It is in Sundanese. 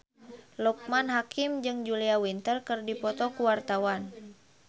Loekman Hakim jeung Julia Winter keur dipoto ku wartawan